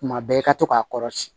Tuma bɛɛ i ka to k'a kɔrɔsi